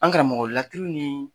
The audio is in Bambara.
An karamɔgɔ laturu ni